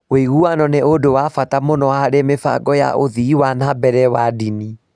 Ũiguano nĩ ũndũ wa bata mũno harĩ mĩbango ya ũthii wa na mbere wa ndini.